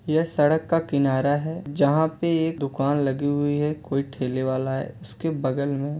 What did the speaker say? यह सड़क का किनारा है जहाँ पे एक दुकान लगी हुई है। कोई ठेले वाला है। उसके बगल में --